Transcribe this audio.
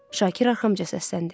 Şakir arxamca səsləndi.